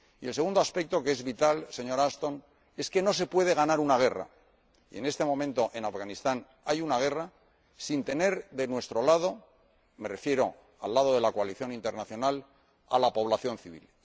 Y el segundo aspecto que es vital, señora Ashton, es que no se puede ganar una guerra y en este momento, en Afganistán hay una guerra sin tener de nuestro lado, me refiero al lado de la coalición internacional, a la población civil.